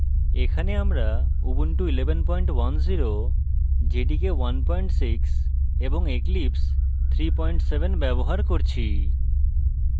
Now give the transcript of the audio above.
এখানে আমরা